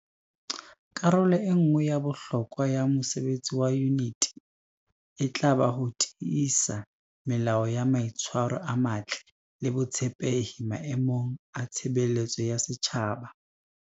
Karolo e nngwe ya bohlokwa ya mosebetsi wa Yuniti e tla ba ho tiisa melao ya mai tshwaro a matle le botshepehi maemong a tshebeletso ya setjhaba.